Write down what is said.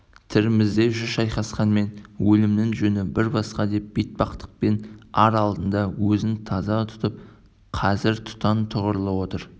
тірімізде жүз шайысқанмен өлімнің жөні бір басқа деп бетпақтықпен ар алдында өзін таза тұтып қазір тұқаң тұғырлы отыр